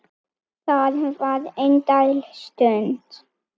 Það var indæl stund.